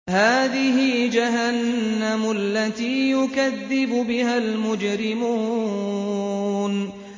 هَٰذِهِ جَهَنَّمُ الَّتِي يُكَذِّبُ بِهَا الْمُجْرِمُونَ